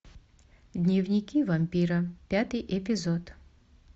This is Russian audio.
дневники вампира пятый эпизод